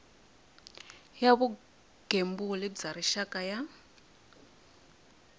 ya vugembuli bya rixaka ya